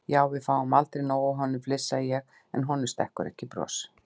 Já, við fáum aldrei nóg af honum, flissa ég en honum stekkur ekki bros.